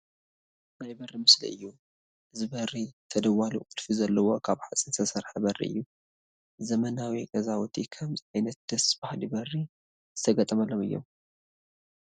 ናይ በሪ ምስሊ እዩ፡፡ እዚ በሪ ተደዋሊ ቁልፊ ዘለዎ ካብ ሓፂን ዝተሰርሐ በሪ እዩ፡፡ ዘመናዊ ገዛውቲ ከምዚ ዓይነት ደስ በሃሊ በሪ ዝተገጠመሎም እዮም፡፡